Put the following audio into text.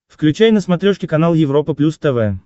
включай на смотрешке канал европа плюс тв